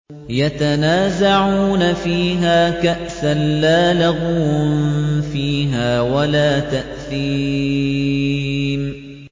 يَتَنَازَعُونَ فِيهَا كَأْسًا لَّا لَغْوٌ فِيهَا وَلَا تَأْثِيمٌ